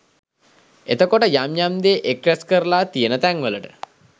එතකොට යම යම් දේ එක්රැස් කරලා තියෙන තැන් වලට